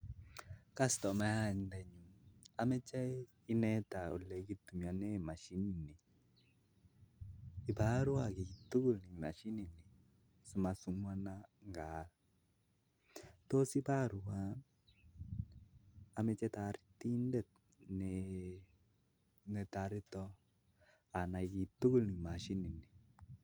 Achi nengung ak amoche ineta olekichoptoi kii asimeima ngaal eng somet